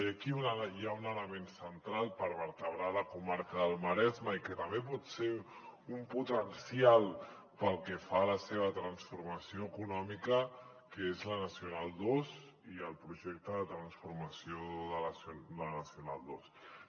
i aquí hi ha un element central per vertebrar la comarca del maresme i que també pot ser un potencial pel que fa a la seva transformació econòmica que és la nacional ii i el projecte de transformació de la nacional ii